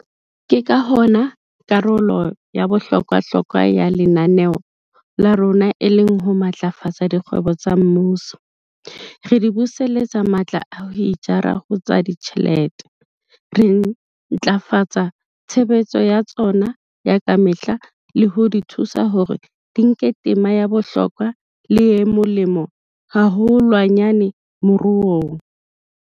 Ke ka hona karolo ya bohlokwa-hlokwa ya lenaneo la rona e leng ho matlafatsa dikgwebo tsa mmuso, re di buseletsa matla a ho itjara ho tsa ditjhelete, re ntlafatsa tshebetso ya tsona ya ka mehla le ho di thusa hore di nke tema ya bohlokwa le e molemo haholwanyane moruong.